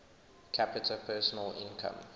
capita personal income